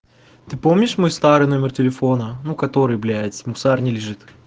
ты помнишь мой старый номер телефона ну который блять в мусорне лежит